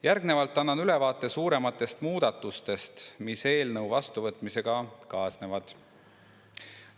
Järgnevalt annan ülevaate suurematest muudatustest, mis eelnõu vastuvõtmisega kaasnevad.